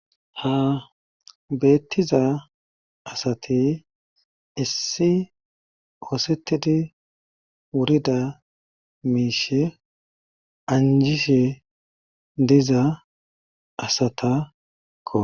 ha beettiza asati issi oosettidi wurida miishe anjishe diza asata koa